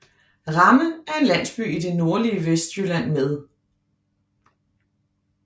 Ramme er en landsby i det nordlige Vestjylland med